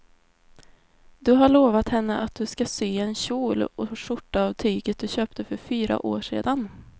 Du har lovat henne att du ska sy en kjol och skjorta av tyget du köpte för fyra år sedan.